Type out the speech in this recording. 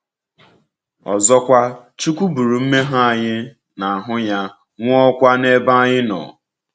Ọzọkwa, Chukwúka buru mmehie anyị n’ahụ́ ya, nwụọkwa n’ebe anyị nọ.